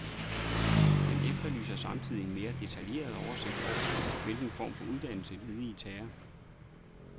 Han efterlyser samtidig en mere detaljeret oversigt over, hvilken form for uddannelse, ledige tager.